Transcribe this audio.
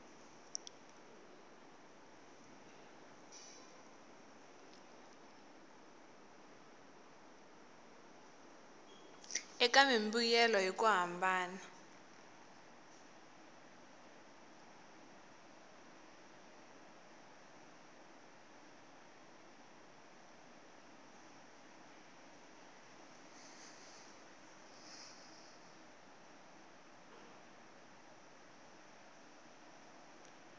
eka mimbuyelo hi ku hambana